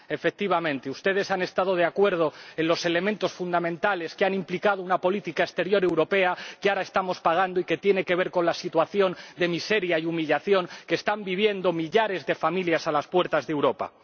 Efectivamente, ustedes han estado de acuerdo en los elementos fundamentales que han implicado una política exterior europea que ahora estamos pagando y que tiene que ver con la situación de miseria y humillación que están viviendo millares de familias a las puertas de Europa.